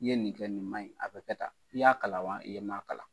I ye nin kɛ nin maɲi, a bɛ kɛ tan. I y'a kalan wa e m'a kalan?